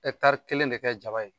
kelen de kɛ jaba ye.